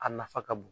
A nafa ka bon